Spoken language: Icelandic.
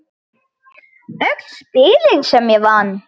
Öll spilin sem ég vann.